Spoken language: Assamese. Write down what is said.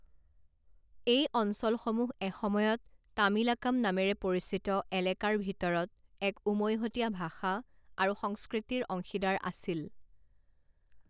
এই অঞ্চলসমূহ এসময়ত তামিলাকাম নামেৰে পৰিচিত এলেকাৰ ভিতৰত এক উমৈহতীয়া ভাষা আৰু সংস্কৃতিৰ অংশীদাৰ আছিল।